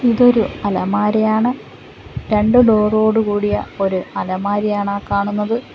ഇതൊരു അലമാരയാണ് രണ്ട് ഡോറോടു കൂടിയ ഒരു അലമാരിയാണ് ആ കാണുന്നത്.